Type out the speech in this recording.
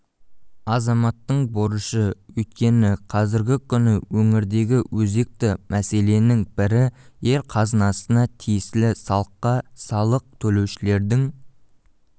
азаматтың борышы өйткені қазіргі күні өңірдегі өзекті мәселенің бірі ел қазынасына тиесілі салыққа салық төлеушілердің